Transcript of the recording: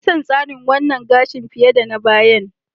Na fi son wannan tsarin gashin fiye da na bayan.